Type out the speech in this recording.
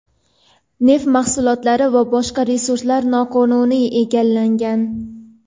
neft mahsulotlari va boshqa resurslar noqonuniy egallangan.